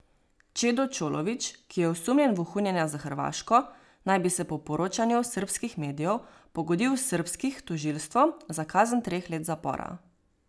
Čedo Čolović, ki je osumljen vohunjenja za Hrvaško, naj bi se po poročanju srbskih medijev pogodil s srbskih tožilstvom za kazen treh let zapora.